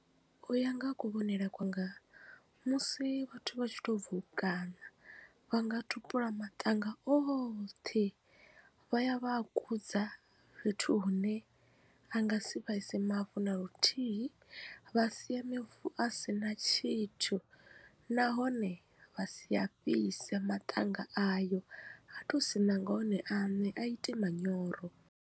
U ya nga ha kuvhonele kwanga musi vhathu vha tshi to bvo u kaṋa vha nga tupula maṱanga oṱhe vha ya vha a kudza fhethu hune a nga si vhaise mavu na luthihi vha sia mavu a si na tshithu nahone vha sia fhise maṱanga ayo ato siṋa nga one aṋe a ite manyoro.